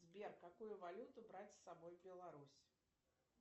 сбер какую валюту брать с собой в беларусь